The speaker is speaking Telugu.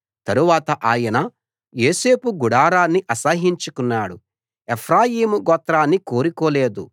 తరవాత ఆయన యోసేపు గుడారాన్ని అసహ్యించుకున్నాడు ఎఫ్రాయిము గోత్రాన్ని కోరుకోలేదు